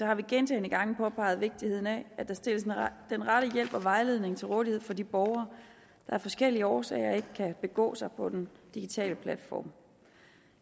har vi gentagne gange påpeget vigtigheden af at der stilles den rette hjælp og vejledning til rådighed for de borgere der af forskellige årsager ikke kan begå sig på den digitale platform